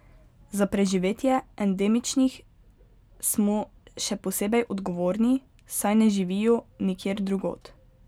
Za preživetje endemičnih smo še posebej odgovorni, saj ne živijo nikjer drugod.